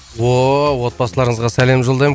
отбасыларыңызға сәлем жолдаймын